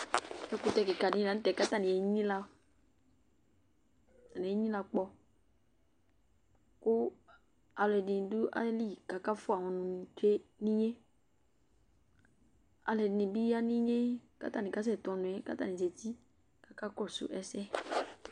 Ekutɛ kika dɩ lanutɛ enyilǝ, kʊ aluɛdɩ dʊ ayili, kʊ akafua ɔnʊ tsue nʊ inye, aluɛdɩnɩ ya nʊ inye, kʊ atanɩ kasɛtu ɔnu yɛ, kʊ atanɩ zati kakasʊ ɛsɛ